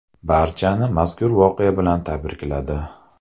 Barchani mazkur voqea bilan tabrikladi.